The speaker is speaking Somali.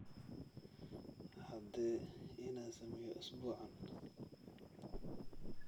caddee inaan sameeyo usbuucan